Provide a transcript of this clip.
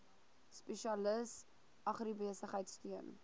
spesialis agribesigheid steun